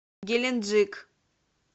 геленджик